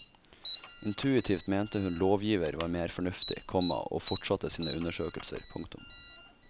Intuitivt mente hun lovgiver var mer fornuftig, komma og fortsatte sine undersøkelser. punktum